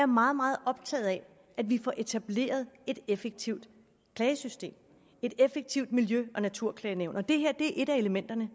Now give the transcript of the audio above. meget meget optaget af at vi får etableret et effektivt klagesystem et effektivt miljø og naturklagenævn og det her er et af elementerne